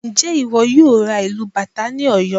Ǹjẹ́ ìwọ yóò ra ìlù bàtá ní Ọ̀yọ́?